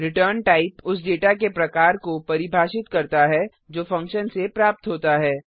ret type उस data के प्रकार को परिभाषित करता है जो फंक्शन से प्राप्त होता है